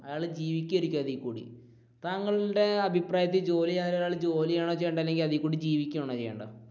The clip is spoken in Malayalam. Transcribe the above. അയാൾ ജീവിക്കുകയായിരിക്കും അതിൽ കൂടി താങ്കളുടെ അഭിപ്രായത്തിൽ ജോലി ചെയ്യുന്ന ഒരാൾ ജോലി ചെയ്യുകയാണോ ചെയ്യേണ്ടത് അതോ അതിൽ കൂടി ജീവിക്കുകയാണോ ചെയ്യേണ്ടത്.